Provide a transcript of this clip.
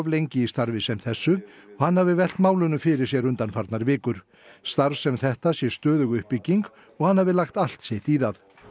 lengi í starfi sem þessu og hann hafi velt málunum fyrir sér undanfarnar vikur starf sem þetta sé stöðug uppbygging og hann hafi lagt allt sitt í það